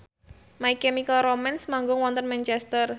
My Chemical Romance manggung wonten Manchester